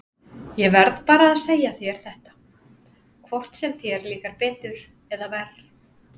Ég verð bara að segja þér þetta, hvort sem þér líkar betur eða verr.